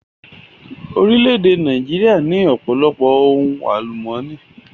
Orílẹ̀-èdè Nàìjíríà ní ọ̀pọ̀lọpọ̀ ohun àlùmọ́nì.